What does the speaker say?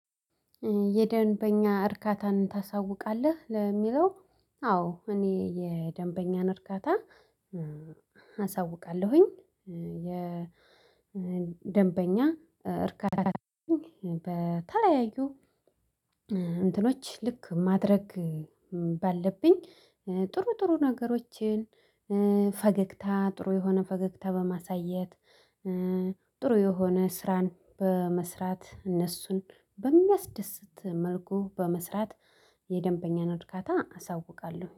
የደንበኛ እርካታን ታሳውቃለህ ለሚለው አዎ እኔ የደንበኛን እርካታ አሳውቃለሁኝ። የደንበኛ እርካታ በተለያዩ እንትኖች ልክ ማድረግ ባለብኝ ጥሩ ጥሩ ነገሮችን ፈገግታ ጥሩ የሆነ ፈገግታ በማሳየት ጥሩ የሆነ ስራን በመስራት እነሱን በሚያስደስት መልኩ በመስራት የደንበኛ እርካታን አሳውቃለሁ